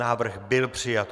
Návrh byl přijat.